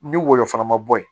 Ni woyo fana ma bɔ yen